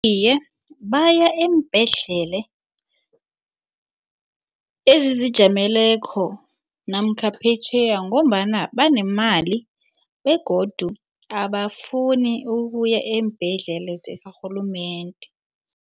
Iye, baya eembhedlela ezizijameleko namkha phetjheya ngombana banemali begodu abafuni ukuya eembhedlela zakarhulumende.